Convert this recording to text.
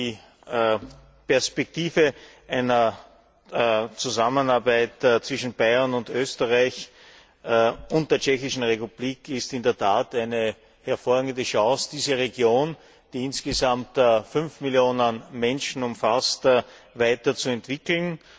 Die Perspektive einer Zusammenarbeit zwischen Bayern und Österreich und der Tschechischen Republik ist in der Tat eine hervorragende Chance, diese Region, die insgesamt fünf Millionen Menschen umfasst, weiter zu entwickeln.